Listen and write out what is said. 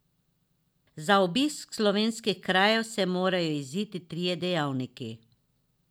Za obisk slovenskih krajev se morajo iziti trije dejavniki.